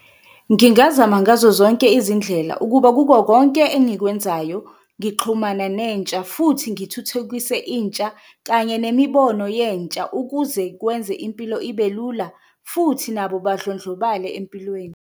Ngingazama ngazo zonke izindlela ukuba kuko konke engikwenzayo, ngixhumana nentsha, futhi ngithuthukise intsha kanye nemibono yentsha ukuze kwenze impilo ibelula, futhi nabo badlondlobale empilweni.